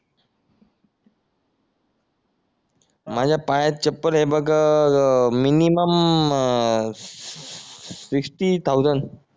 माझ्या पायात चप्पल आहे बघ मिनिमम फिफ्टी थाउसन्ड